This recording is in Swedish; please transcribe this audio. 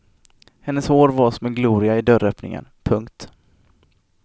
Hennes hår var som en gloria i dörröppningen. punkt